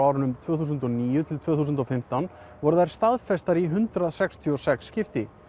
árunum tvö þúsund og níu til tvö þúsund og fimmtán voru þær staðfestar í hundrað sextíu og sex skipti